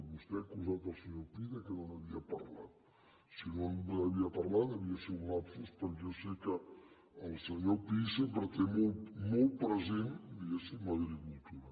vostè ha acusat el senyor pi que no n’havia parlat si no n’havia parlat devia ser un lapsus perquè jo sé que el senyor pi sempre té molt present diguéssim l’agricultura